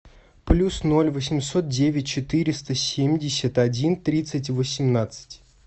плюс ноль восемьсот девять четыреста семьдесят один тридцать восемнадцать